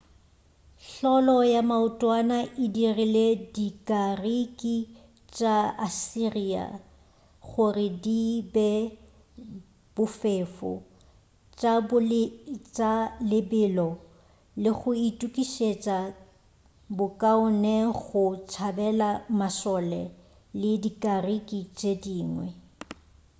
hlolo ya maotwana e dirile dikariki tša assyria gore di be bofefo tša lebelo le go itukišetša bokaone go tšabela mašole le dikariki tše dingwe